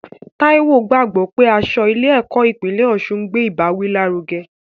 Taiwo gbàgbọ́ pé aṣọ ilé ẹ̀kọ́ ìpínlẹ̀ Osun ń gbé ìbáwí lárugẹ.